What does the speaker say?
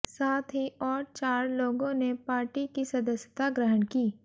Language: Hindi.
साथ ही और चार लोगों ने पार्टी की सदस्यता ग्रहण की